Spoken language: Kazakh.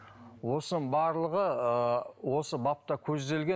осының барлығы ыыы осы бапта көзделген